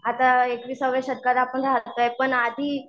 आता एकविसाव्या शतकात आपण राहतोय. पण आधी